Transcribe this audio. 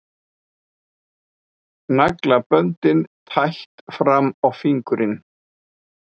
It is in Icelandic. Naglaböndin tætt fram á fingurinn.